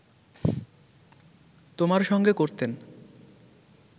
তোমার সঙ্গে করতেন